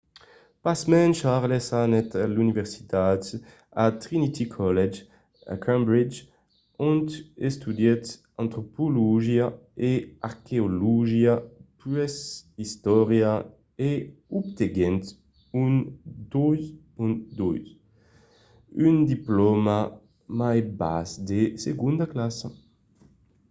pasmens charles anèt a l'universitat a trinity college a cambridge ont estudièt antropologia e arqueologia puèi istòria e obtenguèt un 2:2 un diplòma mai bas de segonda classa